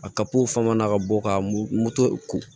A fama na ka bɔ ka m moto ko